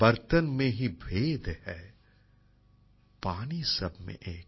বর্তন মে হি ভেদ হ্যায় পানি সব মে এক